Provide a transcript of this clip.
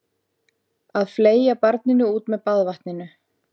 Að fleygja barninu út með baðvatninu